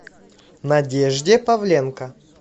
надежде павленко